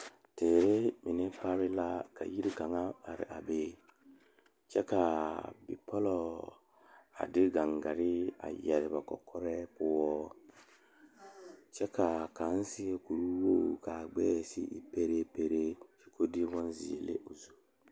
Teere mine pare la ka yiri kaŋa are a be kyɛ kaa bipole a de gangaare yeere ba kɔkɔre poɔ kyɛ kaa kaŋa seɛ kuri wogi kaa gbɛɛ e peɛrɛ peeɛ kyɛ ko'o de bonziɛ le o zu.